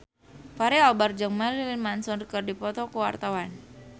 Fachri Albar jeung Marilyn Manson keur dipoto ku wartawan